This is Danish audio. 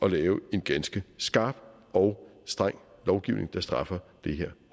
at lave en ganske skarp og streng lovgivning der straffer det her